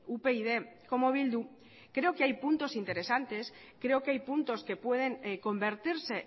upyd como bildu creo que hay puntos interesantes creo que hay puntos que pueden convertirse